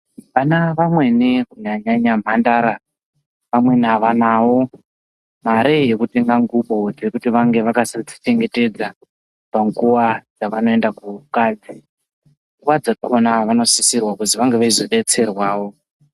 Vana vamweni kunyanya nyanya mhandara vamweni avanawo mare yekutenga ndwubo dzekuti vange vakachengetedza panguva dzavanoenda kukadzi nguvadzakona vonosisirwa kuzi vange veizobetserwawo.